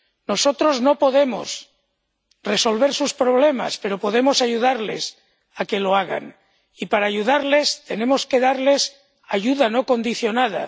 Nosotros no podemos resolver sus problemas, pero podemos ayudarles a que lo hagan y, para ayudarles, tenemos que darles ayuda no condicionada.